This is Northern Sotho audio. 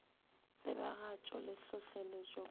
tsebagatšo le hlohleletšo ka go